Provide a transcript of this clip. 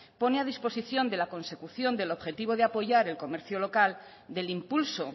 pone a disposición de la consecución del objetivo de apoyar el comercio local del impulso